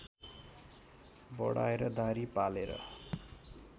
बढाएर दाह्री पालेर